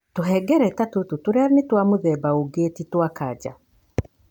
Tũhengereta tũtũ tũrĩa nĩ twa mũthemba ũngĩ tĩ twa kanca.